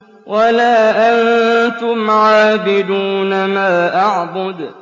وَلَا أَنتُمْ عَابِدُونَ مَا أَعْبُدُ